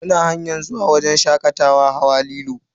Muna hanyar zuwa wajen shakatawa hawa lilo.